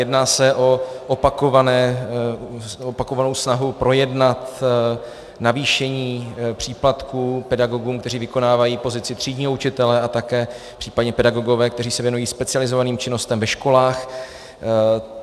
Jedná se o opakovanou snahu projednat navýšení příplatků pedagogům, kteří vykonávají pozici třídního učitele, a také případně pedagogům, kteří se věnují specializovaným činnostem ve školách.